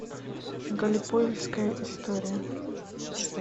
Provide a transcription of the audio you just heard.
галлиполийская история